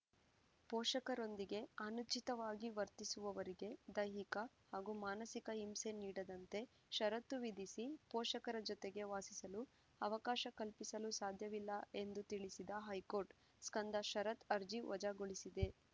ಪೋಷಕರೊಂದಿಗೆ ಅನುಚಿತವಾಗಿ ವರ್ತಿಸುವವರಿಗೆ ದೈಹಿಕ ಹಾಗೂ ಮಾನಸಿಕ ಹಿಂಸೆ ನೀಡದಂತೆ ಷರತ್ತು ವಿಧಿಸಿ ಪೋಷಕರ ಜತೆಗೆ ವಾಸಿಸಲು ಅವಕಾಶ ಕಲ್ಪಿಸಲು ಸಾಧ್ಯವಿಲ್ಲ ಎಂದು ತಿಳಿಸಿದ ಹೈಕೋರ್ಟ್‌ ಸ್ಕಂದ ಶರತ್‌ ಅರ್ಜಿ ವಜಾಗೊಳಿಸಿದೆ